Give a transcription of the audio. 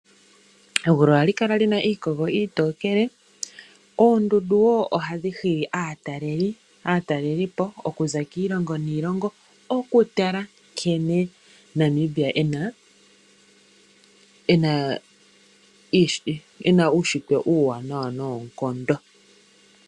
Egulu ohali kala li na iikogo iitookele, oondundu wo ohadhi hili aatalelipo okuza kiilongo niilongo, okutala nkene Namibia e na uunshitwe uuwaanawa noonkondo.